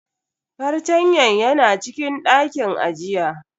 Fartanyan yana cikin dakin ajiya.